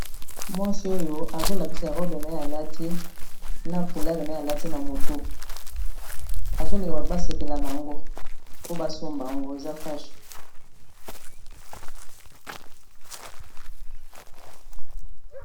Mwasi oyo azolakisa robe naye alati na foulard naye alati na motu azolinga bato basepela na yango po basomba yango eza fashu.